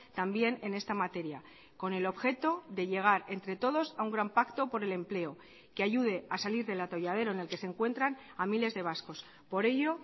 también en esta materia con el objeto de llegar entre todos a un gran pacto por el empleo que ayude a salir del atolladero en el que se encuentran a miles de vascos por ello